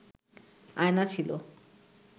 আয়না ছিল